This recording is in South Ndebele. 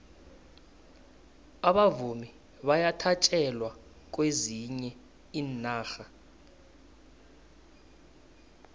abavumi bayathatjelwa kwezinye iinarha